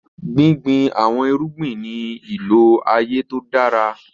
Gbìngbìn awọn èrùgbìn ní ilọ aaye tó dára.